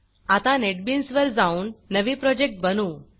आता नेटबीन्स वर जाऊन नवे प्रोजेक्ट बनवू